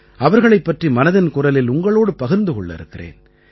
அவர்களைப் பற்றி மனதின் குரலில் உங்களோடு பகிர்ந்து கொள்ள இருக்கிறேன்